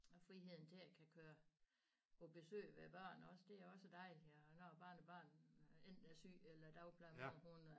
Og friheden til at kan køre på besøg ved børn også det er også dejligt og når barnebarn enten er syg eller dagplejemor hun